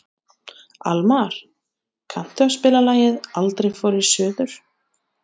Almar, kanntu að spila lagið „Aldrei fór ég suður“?